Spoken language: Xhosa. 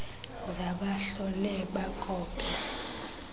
za bahlole bakope